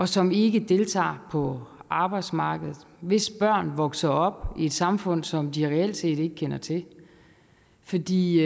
som ikke deltager på arbejdsmarkedet hvis børn vokser op i et samfund som de reelt ikke kender til fordi